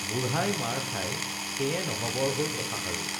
বুঢ়াই মাৰ খাই সেয়ে নহবৰ হল কথাষাৰো